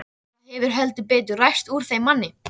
Það hefur heldur betur ræst úr þeim manni!